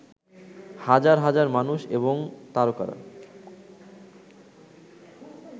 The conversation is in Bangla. হাজার হাজার মানুষ এবং তারকারা